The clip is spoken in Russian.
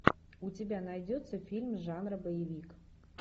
у тебя найдется фильм жанра боевик